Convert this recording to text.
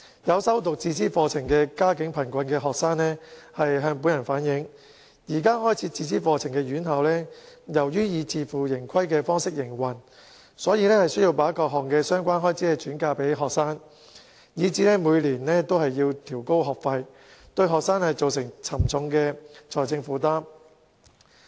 有修讀自資課程的家境貧困學生向本人反映，開設自資課程的院校由於以自負盈虧方式營運，所以需把各項相關開支轉嫁予學生，以致每年均調高學費，對學生造成沉重的財政負擔。